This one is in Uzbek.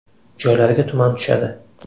Joylarga tuman tushadi.